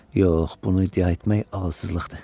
Yox, bunu iddia etmək ağılsızlıqdır.